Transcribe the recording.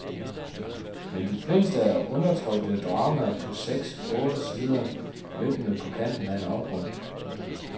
Men de fleste er undertrykte dramaer på seks otte sider, vippende på kanten af en afgrund.